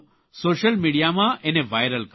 social મિડિયામાં એને viral કરો